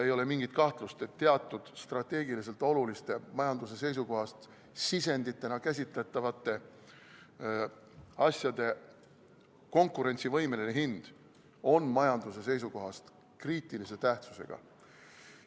Ei ole mingit kahtlust, et teatud strateegiliselt oluliste majanduse seisukohast sisenditena käsitletavate asjade konkurentsivõimeline hind on majanduse seisukohast kriitilise tähtsusega.